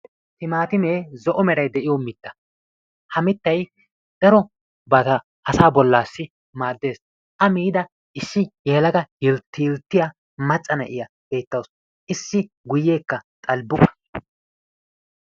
Timaatimee zo'o meray de'iyo mitta. Ha mittay darobata asaa bollassi maaddees. A miida issi yelaga yilttiyilttiya macca na'iya beettawusu issi guyeekka xalbbuqa.